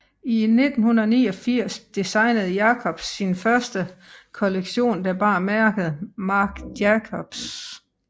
I 1989 designede Jacobs sin første kollektion der bar mærket Marc Jacobs